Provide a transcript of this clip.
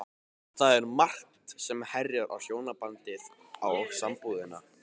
Það er margt sem herjar á hjónabandið og sambúðina.